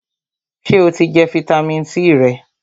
Sè o ti jẹ fitamisi C rẹ?